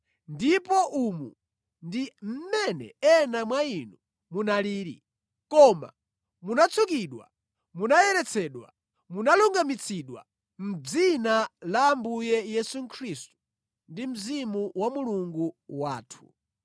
Ndipo umu ndi mmene ena mwa inu munalili. Koma munatsukidwa, munayeretsedwa, munalungamitsidwa mʼdzina la Ambuye Yesu Khristu ndi Mzimu wa Mulungu wathu.